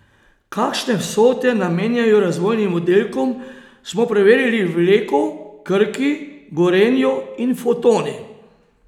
Kakšne vsote namenjajo razvojnim oddelkom, smo preverili v Leku, Krki, Gorenju in Fotoni.